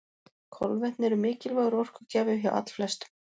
Kolvetni eru mikilvægur orkugjafi hjá allflestum.